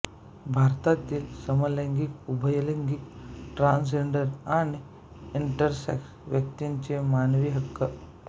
भारतातील समलैंगिक उभयलिंगी ट्रांसजेंडर आणि इंटेरसेक्स व्यक्तींचे मानवी हक्क